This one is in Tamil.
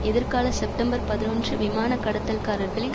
எதிர்கால செப்டம்பர் பதினொன்று விமான கடத்தல்காரர்களில்